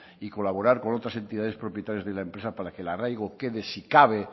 y colaborar con otras entidades propietarias de la empresa para que el arraigo quede si cabe